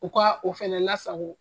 U ka o fɛnɛ lasago